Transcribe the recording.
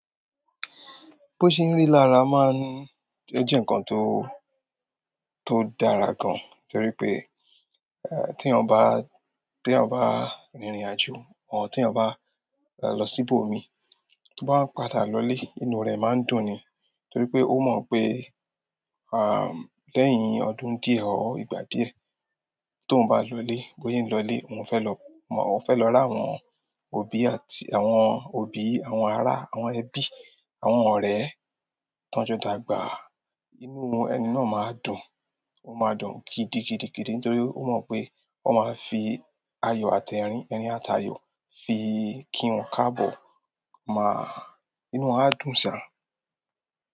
Bó ṣe ń rí lára má ń jẹ́ ǹkan tó, tó dára gan, torí pé, tí ènìyàn bá, tí ènìyàn bá rìn ìrìnàjò, or tí ènìyàn bá lọ sí ibòmí, tó bá ń padà lọlé, inú rẹ̀ má ń dùn ni. Torí pé ó mọ̀ pé, lẹ́yìn ọdún díẹ̀ or ìgbà díẹ̀, tóhun bá lọlé, bó se n lọlé, òun fẹ́ lọ mọ̀, ó fẹ́ lọ ri àwọn òbí àti àwọn òbí, àwọn ará, àwọn ẹbí, àwọn ọ̀rẹ́ tán jọ dàgbà. Inú ẹni náà má ń dùn, ó má ń dùn gidigidigidi nítorí ó mọ̀ pé ó máa fi ayọ̀ àti ẹ̀rín, ẹ̀rín àtàyọ̀ fi kí wọn káàbọ̀. Inú wọn á dùn sá.